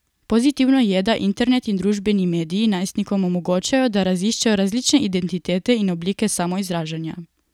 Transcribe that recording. Pozitivno je, da internet in družbeni mediji najstnikom omogočajo, da raziščejo različne identitete in oblike samoizražanja.